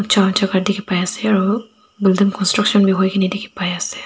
jaka dikhipaiase aru building construction bi hoikae na dikhipaiase.